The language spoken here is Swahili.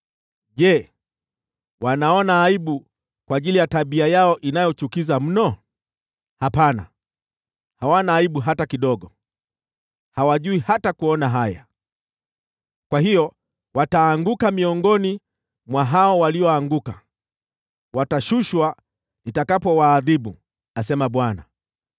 Je, wanaona aibu kwa ajili ya tabia yao inayochukiza mno? Hapana, hawana aibu hata kidogo; hawajui hata kuona haya. Kwa hiyo wataanguka miongoni mwa hao walioanguka, watashushwa chini nitakapowaadhibu,” asema Bwana .